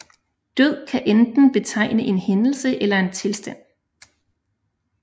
Død kan enten betegne en hændelse eller en tilstand